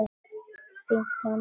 Fínt andlit?